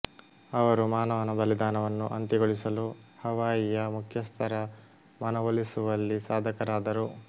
ಅವರು ಮಾನವನ ಬಲಿದಾನವನ್ನು ಅಂತ್ಯಗೊಳಿಸಲು ಹವಾಯಿಯ ಮುಖ್ಯಸ್ಥರ ಮನವೊಲಿಸುವಲ್ಲಿ ಸಾಧಕರಾದರು